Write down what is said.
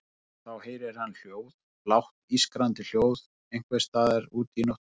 Og þá heyrir hann hljóð, lágt ískrandi hljóð einhvers staðar úti í nóttinni.